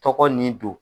Tɔgɔ nin don